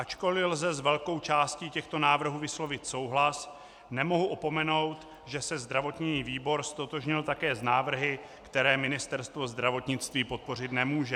Ačkoli lze s velkou částí těchto návrhů vyslovit souhlas, nemohu opomenout, že se zdravotní výbor ztotožnil také s návrhy, které Ministerstvo zdravotnictví podpořit nemůže.